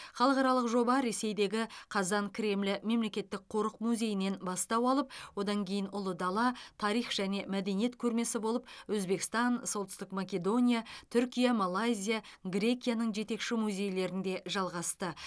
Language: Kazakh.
халықаралық жоба ресейдегі қазан кремлі мемлекеттік қорық музейінен бастау алып одан кейін ұлы дала тарих және мәдениет көрмесі болып өзбекстан солтүстік македония түркия малайзия грекияның жетекші музейлерінде жалғасты